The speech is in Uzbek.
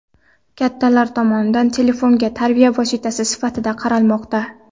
Kattalar tomonidan telefonga tarbiya vositasi sifatida qaralmoqda.